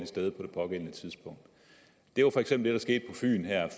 sted på det pågældende tidspunkt det var for eksempel det der skete på fyn her